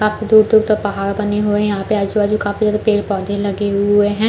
काफी दूर दूर तक पहाड़ बने हुए है यहाँ पे आजु बाजु काफी ज्यादा पेड़-पौधे लगे हुए हैं।